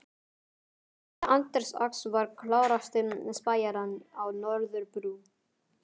Herra Anders Ax var klárasti spæjarinn á Norðurbrú.